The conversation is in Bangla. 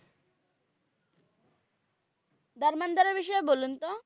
ধর্মেন্দ্র এর বিষয়ে বলুন তো?